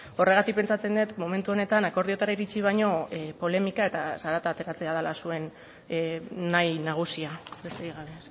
horregatik pentsatzen dut momentu honetan akordioetara iritzi baino polemika eta zarata ateratzea dela zuen nahi nagusia besterik gabe